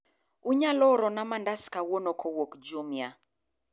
unonyalo orona mandazi kawuono kowuok jumia